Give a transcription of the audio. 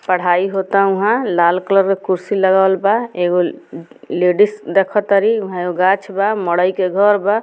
पढ़ाई होअता ऊहा लाल कलर का कुर्सी लगावल बा एगो लेडिस देखातारी गाछ बा मड़ई के घर बा।